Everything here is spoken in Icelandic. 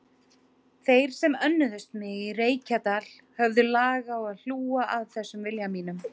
Þeir sem önnuðust mig í Reykjadal höfðu lag á að hlúa að þessum vilja mínum.